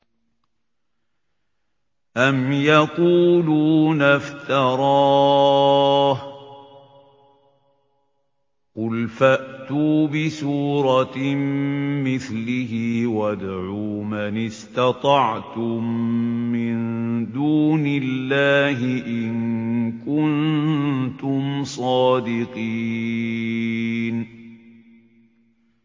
أَمْ يَقُولُونَ افْتَرَاهُ ۖ قُلْ فَأْتُوا بِسُورَةٍ مِّثْلِهِ وَادْعُوا مَنِ اسْتَطَعْتُم مِّن دُونِ اللَّهِ إِن كُنتُمْ صَادِقِينَ